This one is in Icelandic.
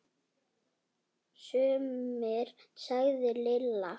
Sumir sagði Lilla.